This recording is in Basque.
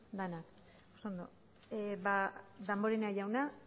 denak oso ondo ba damborenea jauna